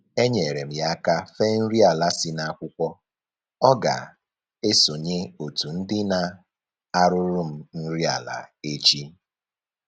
Enyeere m ya aka fee nri ala si n'akwụkwọ, ọ ga-esonye otu ndị na-arụrụ m nri ala echi